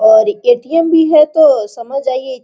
और A .T .M. भी है तो समझ जाइए।